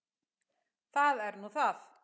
Það er nú það.